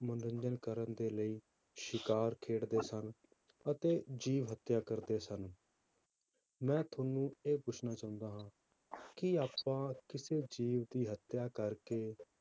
ਮਨੋਰੰਜਨ ਕਰਨ ਦੇ ਲਈ ਸ਼ਿਕਾਰ ਖੇਡਦੇ ਸਨ ਅਤੇ ਜੀਵਨ ਹੱਤਿਆ ਕਰਦੇ ਸਨ ਮੈਂ ਤੁਹਾਨੂੰ ਇਹ ਪੁੱਛਣਾ ਚਾਹੁੰਦਾ ਹਾਂ ਕਿ ਆਪਾਂ ਕਿਸੇ ਜੀਵ ਦੀ ਹੱਤਿਆ ਕਰਕੇ